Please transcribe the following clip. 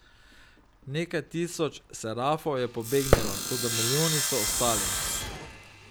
Nekaj tisoč serafov je pobegnilo, toda milijoni so ostali.